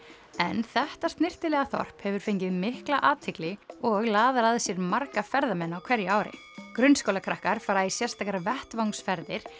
en þetta snyrtilega þorp hefur fengið mikla athygli og laðar að sér marga ferðamenn á hverju ári fara í sérstakar vettvangsferðir